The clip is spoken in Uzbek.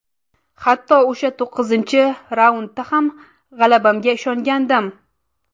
Hatto o‘sha to‘qqizinchi raundda ham g‘alabamga ishongandim.